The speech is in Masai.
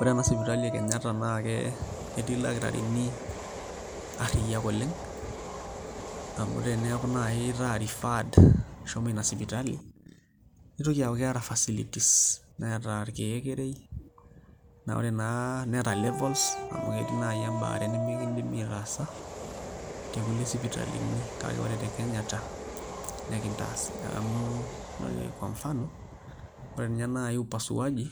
Ore ena sipitali e Kenyatta naa ketii ildakitarini arriyiak oleng' amu eneeku naai itaa referred shomo ina sipitali nitoki aaku keeta facilities, neeta irkeekerei ore naa neeta levels amu ketii naai embaare nemekindimi aitaasa tekulie sipitalini kake ore te Kenyatta nekintaasi amu ore kwa mfano ore ninye naai upasuaji